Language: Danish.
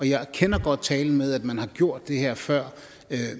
jeg kender godt talen med at man har gjort det her før